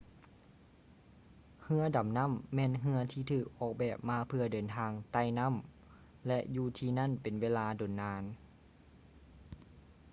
ເຮືອດໍານໍ້າແມ່ນເຮືອທີ່ຖືກອອກແບບມາເພື່ອເດີນທາງໃຕ້ ນໍ້າ ແລະ ຢູ່ທີ່ນັ້ນເປັນເວລາດົນນານ